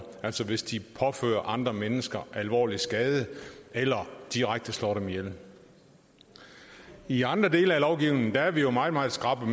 altså hvis de påfører andre mennesker alvorlig skade eller direkte slår dem ihjel i andre dele af lovgivningen er vi meget meget skrappe